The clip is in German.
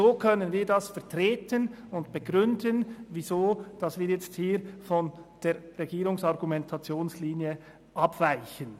So können wir begründen, weshalb wir hier von der Argumentationslinie der Regierung abweichen.